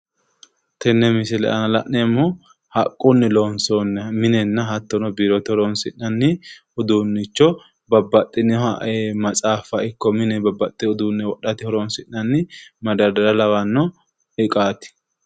Tenne misile aana la'neemmohu haqqunni loonsoonniha minenna hattono biirote horoonsi'nanni uduunnicho babbaxxinoha matsaaffa ikko mine babbaxxewo uduunne wodhate horoonsi'nanni madardara lawanno iqaati.